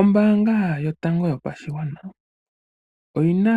Ombaanga yotango yopashigwana oyi na